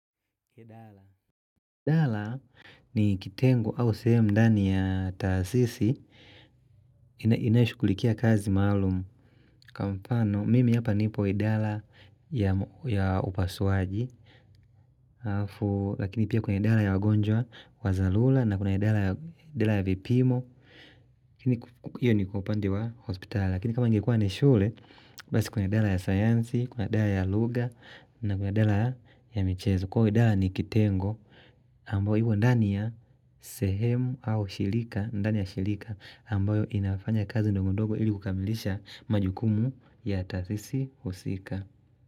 Idala ni kitengo au sehemu ndani ya taasisi ina inayoshughulikia kazi maalumu kwa mpano mimi hapa nipo idala ya upasuaji lakini pia kuna idala ya wagonjwa wa zalula na kuna idala ya vipimo kiniku hio ni kwa upande wa hospital lakini kama ingekua ni shule basi kuna idala ya sayansi, kuna idala ya lugha na kuna idala ya michezo kwauo idaa ni kitengo ambayo imo ndani ya sehemu au shilika, ndani ya shilika ambayo inafanya kazi ndongodogo ili kukamilisha majukumu ya tasisi husika.